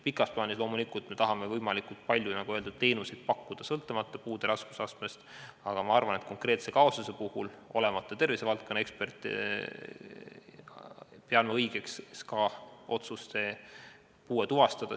Pikas plaanis me loomulikult tahame võimalikult palju teenuseid pakkuda sõltumata puude raskusastmest, aga ma arvan, et konkreetse kaasuse puhul, olemata tervisevaldkonna ekspert, pean ma õigeks SKA otsust puue tuvastada.